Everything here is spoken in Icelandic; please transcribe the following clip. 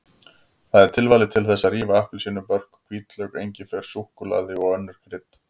Það er tilvalið til þess að rífa appelsínubörk, hvítlauk, engifer, súkkulaði og önnur krydd.